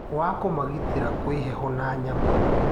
Wa kũmagitĩra kwĩ heho na nyamũ